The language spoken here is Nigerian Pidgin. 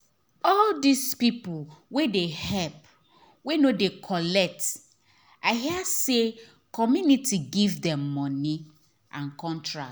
all those people wey dey help wey no dey collect i hear say community give them money and contract